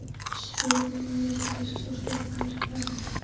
spyr hún og er eitt risastórt spurningamerki í framan.